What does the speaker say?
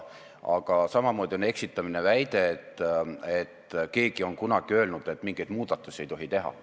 Ja samamoodi on eksitamine väide, et keegi on kunagi öelnud, et mingeid muudatusi ei tohi teha.